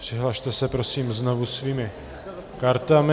Přihlaste se prosím znovu svými kartami.